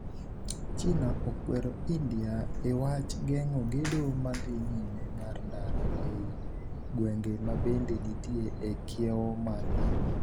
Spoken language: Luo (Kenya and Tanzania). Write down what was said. china okwero India e wach geng'o gedo madhi nyime mar ndara ei gwenge mabende nitie e kiewo margi.